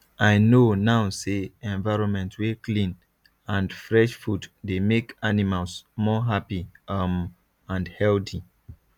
i know now say environment wey clean and fresh food dey make animals more happy um and healthy